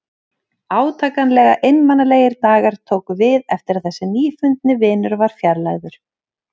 Átakanlega einmanalegir dagar tóku við eftir að þessi nýfundni vinur var fjarlægður.